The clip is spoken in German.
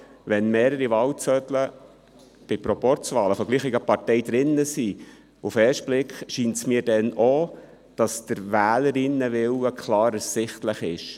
Wenn bei Proporzwahlen von derselben Partei mehrere Wahlzettel enthalten sind, scheint es mir auf den ersten Blick auch, dass der Wählerinnen- und Wählerwille klar ersichtlich ist.